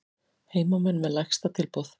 Heimamenn með lægsta tilboð